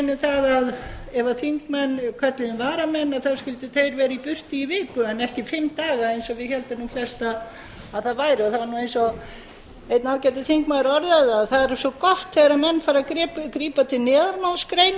um að ef þingmenn kölluðu inn varamenn skyldu þeir vera í burtu í viku en ekki fimm daga eins og við héldum flest að það væri það var eins og einn ágætur þingmaður orðaði það það er svo gott þegar